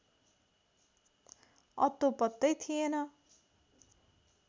अत्तो पत्तै थिएन